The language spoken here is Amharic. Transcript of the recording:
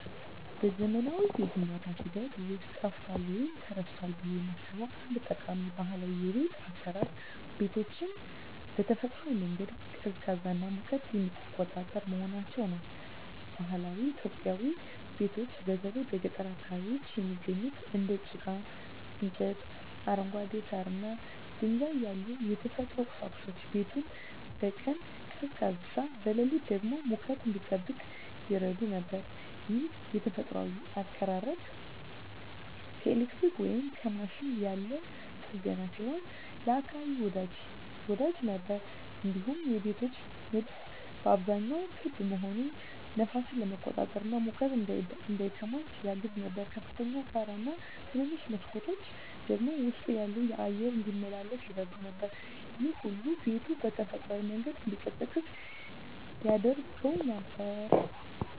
በዘመናዊው የግንባታ ሂደት ውስጥ ጠፍቷል ወይም ተረስቷል ብዬ የማስበው አንድ ጠቃሚ ባህላዊ የቤት አሰራር ቤቶችን በተፈጥሯዊ መንገድ ቀዝቃዛና ሙቀትን የሚቆጣጠር መሆናቸው ነው። በባህላዊ ኢትዮጵያዊ ቤቶች በተለይ በገጠር አካባቢዎች የሚገኙት እንደ ጭቃ፣ እንጨት፣ አረንጓዴ ሳር እና ድንጋይ ያሉ የተፈጥሮ ቁሳቁሶች ቤቱን በቀን ቀዝቃዛ፣ በሌሊት ደግሞ ሙቀት እንዲጠብቅ ይረዱ ነበር። ይህ የተፈጥሮ አቀራረብ ከኤሌክትሪክ ወይም ከማሽን ያለ ጥገኛ ሲሆን ለአካባቢ ወዳጅ ነበር። እንዲሁም የቤቶች ንድፍ በአብዛኛው ክብ መሆኑ ነፋስን ለመቆጣጠር እና ሙቀት እንዳይከማች ያግዝ ነበር። ከፍተኛ ጣራ እና ትንንሽ መስኮቶች ደግሞ ውስጡ ያለው አየር እንዲመላለስ ይረዱ ነበር። ይህ ሁሉ ቤቱ በተፈጥሯዊ መንገድ እንዲቀዝቅዝ ያደርገው ነበር።